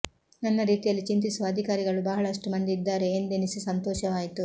ನನ್ನ ರೀತಿಯಲ್ಲಿ ಚಿಂತಿಸುವ ಅಧಿಕಾರಿಗಳು ಬಹಳಷ್ಟು ಮಂದಿ ಇದ್ದಾರೆ ಎಂದೆನಿಸಿ ಸಂತೋಷವಾಯಿತು